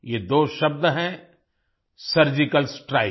ये दो शब्द हैं सर्जिकल Strike